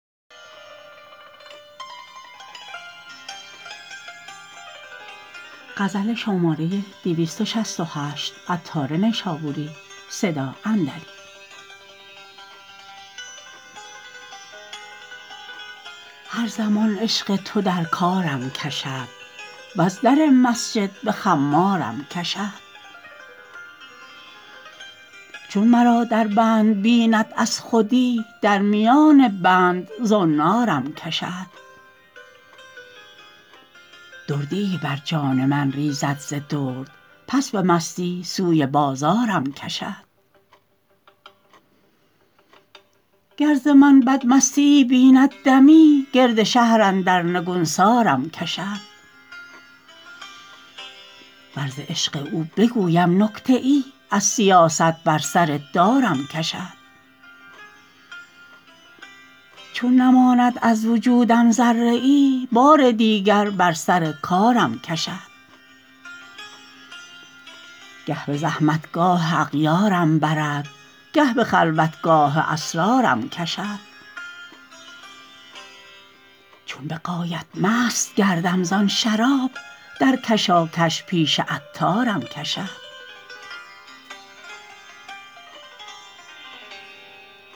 هر زمان عشق تو در کارم کشد وز در مسجد به خمارم کشد چون مرا در بند بیند از خودی در میان بند زنارم کشد دردییی بر جان من ریزد ز درد پس به مستی سوی بازارم کشد گر ز من بد مستییی بیند دمی گرد شهر اندر نگونسارم کشد ور ز عشق او بگویم نکته ای از سیاست بر سر دارم کشد چون نماند از وجودم ذره ای بار دیگر بر سر کارم کشد گه به زحمتگاه اغیارم برد گه به خلوتگاه اسرارم کشد چون به غایت مست گردم زان شراب در کشاکش پیش عطارم کشد